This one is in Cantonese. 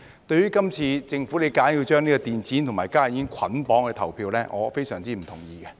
對於今次政府硬把電子煙和加熱煙作捆綁投票，我非常不同意。